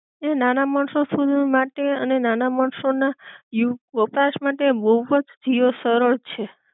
ને નાના માણસો સુધી માટે અને નાના માણસો ના યૂ, વપરાશ માટે બોવ જ જીઓ સરળ છે